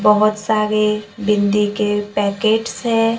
बहोत सारे बिंदी के पैकेटस है।